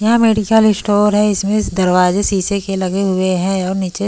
यह medical store हैं इसमें दरवाज़े शीशे के लगे हुए हैं और नीचे--